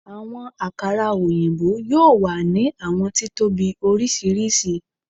Awọn akara oyinbo, yoo wa ni awọn titobi oriṣiriṣi